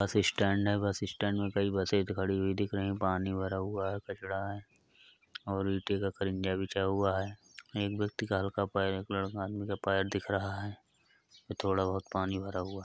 बस स्टैंड है bus stand में कई बसे खड़ी हुई दिख रही है पानी भरा हुआ है कचरा है और ईटे का खरिनजा बिछा हुआ है। एक व्यक्ति का हल्का पैर एक लड़का आदमी का पैर दिख रहा है। थोड़ा बहुत पानी भरा हुआ है।